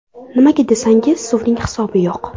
Nimaga desangiz, suvning hisobi yo‘q.